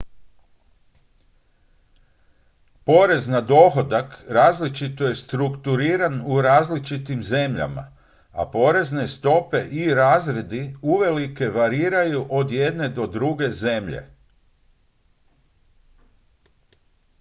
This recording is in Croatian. porez na dohodak različito je strukturiran u različitim zemljama a porezne stope i razredi uvelike variraju od jedne do druge zemlje